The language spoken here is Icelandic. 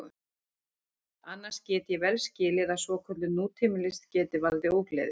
Annars get ég vel skilið að svokölluð nútímalist geti valdið ógleði.